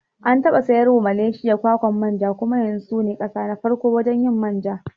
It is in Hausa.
An taɓa sayarwa Malaysia kwakwan manja kuma yanzu sune kasa na farko wajen yin manja